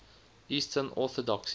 eastern orthodoxy